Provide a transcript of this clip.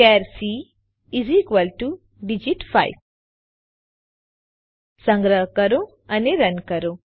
ચાર સી ડીજીટ 5 સંગ્રહ કરો અને રન કરો